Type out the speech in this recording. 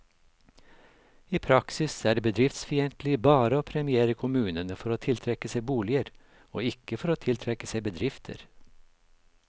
I praksis er det bedriftsfiendtlig bare å premiere kommunene for å tiltrekke seg boliger, og ikke for å tiltrekke seg bedrifter.